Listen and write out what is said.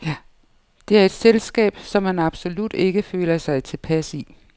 Det er et selskab, som han absolut ikke føler sig tilpas i.